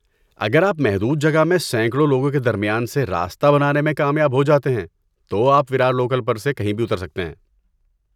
اگر آپ محدود جگہ میں سینکڑوں لوگوں کے درمیان سے راستہ بنانے میں کامیاب ہو جاتے ہیں تو آپ ویرار لوکل پر سے کہیں بھی اتر سکتے ہیں۔